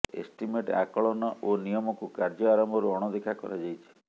estimate ଆକଳନ ଓ ନିୟମକୁ କାର୍ଯ୍ୟ ଆରମ୍ଭରୁ ଅଣଦେଖା କରାଯାଇଛି